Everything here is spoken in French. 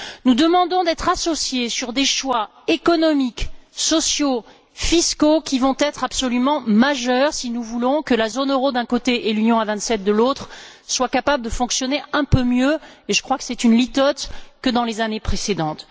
Nous demandons d'être associés à des choix économiques, sociaux, fiscaux qui vont être absolument majeurs si nous voulons que la zone euro, d'un côté, et l'Union à vingt sept, de l'autre, soient capables de fonctionner un peu mieux, et je crois que c'est une litote, que dans les années précédentes.